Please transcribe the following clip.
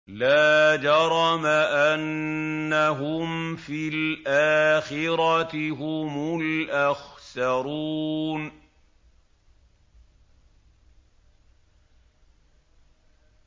لَا جَرَمَ أَنَّهُمْ فِي الْآخِرَةِ هُمُ الْأَخْسَرُونَ